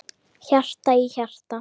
Hjarta í hjarta.